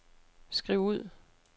skriv ud